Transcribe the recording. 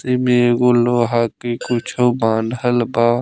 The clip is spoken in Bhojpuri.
त इमे एगो लोहा के कुछो बान्हल बा |